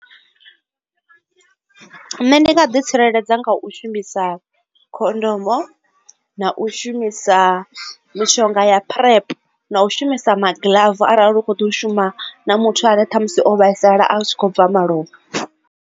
Nṋe ndi nga ḓi tsireledza nga u shumisa khondomo na u shumisa mishonga ya PrEP na u shumisa magiḽafu arali u kho ḓo tea u shuma na muthu ane ṱhamusi o vhaisala a tshi khou bva malofha.